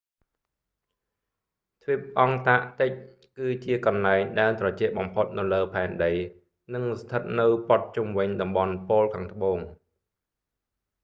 ទ្វីបអង់តាក់ទិកគឺជាកន្លែងដែលត្រជាក់បំផុតនៅលើផែនដី និងស្ថិតនៅព័ទ្ធជុំវិញតំបន់ប៉ូលខាងត្បូង